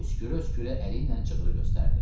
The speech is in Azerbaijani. Öskürə-öskürə əliylə cığırı göstərdi.